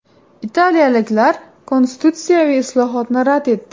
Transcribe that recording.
Italiyaliklar konstitutsiyaviy islohotni rad etdi.